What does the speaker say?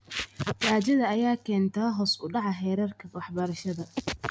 Gaajada ayaa keenta hoos u dhaca heerarka waxbarashada.